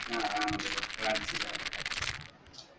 ആഹ് ആ parts ലാ